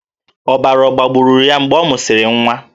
Ọbara ọ̀ gbagburu ya mgbe ọ mụsịrị nwa?